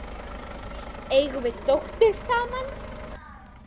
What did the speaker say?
Eigum við dóttur saman?